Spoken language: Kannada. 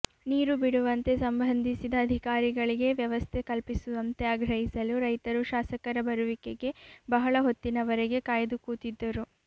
ನೀರು ಬಿಡುವಂತೆ ಸಂಬಂಧಿಸಿದ ಅಧಿಕಾರಿಗಳಿಗೆ ವ್ಯವಸ್ಥೆ ಕಲ್ಪಿಸುವಂತೆ ಆಗ್ರಹಿಸಲು ರೈತರು ಶಾಸಕರ ಬರುವಿಕೆಗೆ ಬಹಳ ಹೊತ್ತಿನವರೆಗೆ ಕಾಯ್ದು ಕೂತಿದ್ದರು